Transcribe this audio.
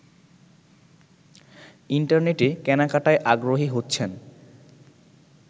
ইন্টারনেটে কেনাকাটায় আগ্রহী হচ্ছেন